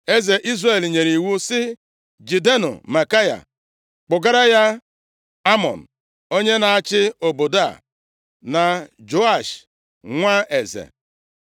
Eze Izrel nyere iwu sị, “Jidenụ Maikaya kpụgara ya Amọn, onye na-achị obodo a, na Joash, nwa eze.